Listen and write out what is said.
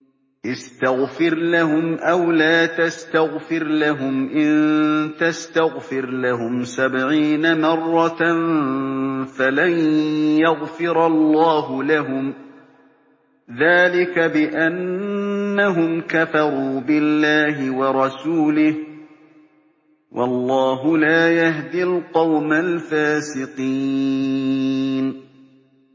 اسْتَغْفِرْ لَهُمْ أَوْ لَا تَسْتَغْفِرْ لَهُمْ إِن تَسْتَغْفِرْ لَهُمْ سَبْعِينَ مَرَّةً فَلَن يَغْفِرَ اللَّهُ لَهُمْ ۚ ذَٰلِكَ بِأَنَّهُمْ كَفَرُوا بِاللَّهِ وَرَسُولِهِ ۗ وَاللَّهُ لَا يَهْدِي الْقَوْمَ الْفَاسِقِينَ